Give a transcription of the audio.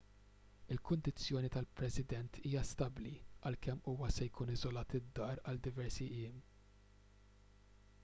il-kundizzjoni tal-president hija stabbli għalkemm huwa se jkun iżolat id-dar għal diversi jiem